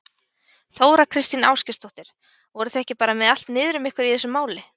Þóra Kristín Ásgeirsdóttir: Voruð þið ekki bara með allt niður um ykkur í þessu máli?